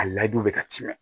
A layidu bɛ ka tiɲɛ